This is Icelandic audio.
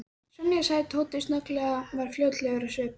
Sonja sagði Tóti snögglega og varð flóttalegur á svip.